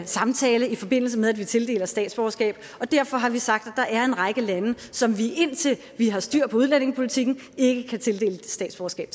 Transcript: samtale i forbindelse med at vi tildeler statsborgerskab og derfor har vi sagt at der er en række lande som vi indtil vi har styr på udlændingepolitikken ikke kan tildele statsborgerskab